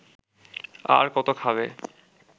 আর কত খাবে